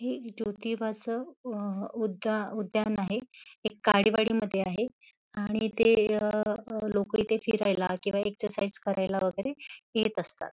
हे जोतिबाच उ उधा उद्यान आहे हे काडीवाडीमध्ये आहे आणि इथे लोक इथे फिरायला किव्हा एक्झेरसायझ करायला वगेरे येत असतात.